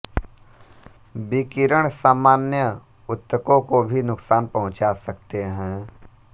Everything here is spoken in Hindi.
विकिरण सामान्य ऊतकों को भी नुकसान पहुँचा सकते हैं